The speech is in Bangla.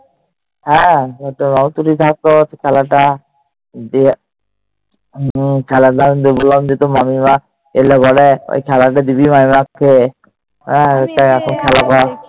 হ্যাঁ। ও তো থাকতো খেলাটা, দিয়ে খেলাটা যে বললাম তোর মামিমা এলে পরে খেলাটা দিবি মামিমাকে।